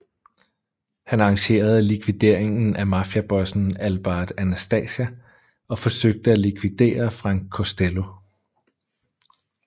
Han arrangerede likvideringen af mafiabossen Albert Anastasia og forsøgte af likvidere Frank Costello